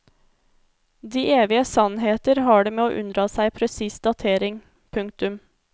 De evige sannheter har det med å unndra seg presis datering. punktum